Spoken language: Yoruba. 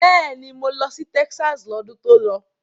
Bẹ́ẹ̀ni, mo lọ sí Texas lọ́dún tó lọ.